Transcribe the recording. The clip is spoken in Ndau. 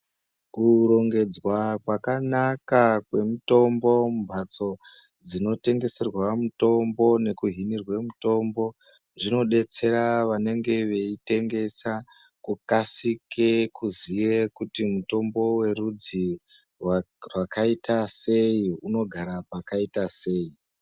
Kurongedzwa kwakanaka kwemitombo mumbatso dzinotengeserwa mitombo nekuhinirwe mitombo zvinodetsera vanenge veitengesa kukasike kuzive kuti mutombo werudzi rwakaita sei unogara pakaita sei.